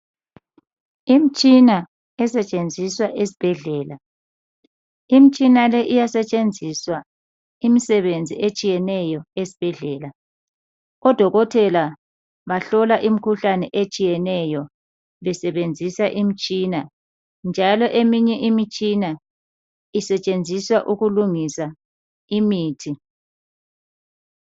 Imitshina esetshenziswa esibhedlela. Imitshina le iyasetshenziswa imisebenzi etshiyeneyo esibhedlela. Odokotela bahlola imikhuhlane etshiyeneyo besebenzisa imitshina njalo eminye imitshina isetshenziswa ukulungisa imithi.